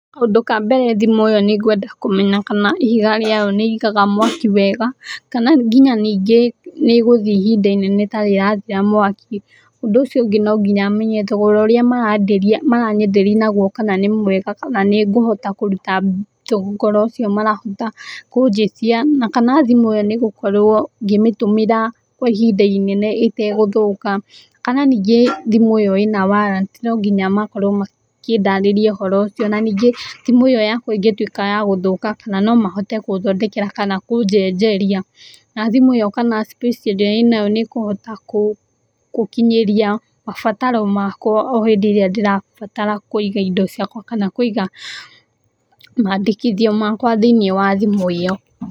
Kaũndũ ka mbere thimũ ĩo nĩ nĩngwenda kũmenya kana ihiga rĩayo nĩĩigaga mwaki wega kana nginya nyingĩ nĩĩgũthiĩ ihinda inene ĩtarĩ ĩrathira mwaki. ũndũ ũcio ũngĩ nonginya menye kana thogora ũrĩa maranyenderia naguo kana nĩmwega kana nĩngũhota kũruta mbeca icio marahota kũnjĩtia na kana thimũ ĩo nĩngũkorwo ngĩmĩhũthĩra kwa ihinda inene ĩtagũthũka. Kana nyingĩ thimũ ĩo ĩna warrant nonginya makorwo makĩndarĩria ũhoro ũcio. Na nyingĩ thimũ ĩo yakwa ĩngĩkorwo ya gũthũka kana nomahote gũthondekera kana kũnjenjeria. Na thimũ ĩo space ĩrĩa ĩnayo kana nĩkũhota kũkinyĩria mabataro makwa hĩndĩ ĩrĩa ndĩrabatara kũiga indo ciakwa kana kũiga makwa mandĩkithio makwa thĩiniĩ wa thimũ ĩo.